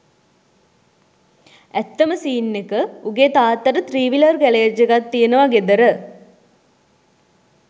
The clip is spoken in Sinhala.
ඇත්තම සීන් එක උගේ තාත්තට ත්‍රීවිලර් ගැරේජ් එකක් තියෙනවා ගෙදර